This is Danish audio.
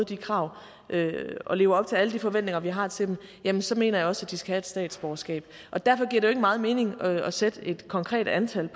de krav og lever op til alle de forventninger vi har til dem jamen så mener jeg også de skal have statsborgerskab og derfor giver det jo ikke meget mening at fastsætte et konkret antal